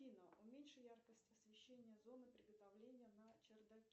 афина уменьши яркость освещения зоны приготовления на чердаке